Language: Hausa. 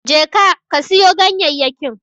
Je ka, ka siyo ganyayyakin.